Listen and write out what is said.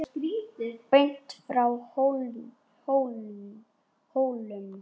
Beint frá Hólum.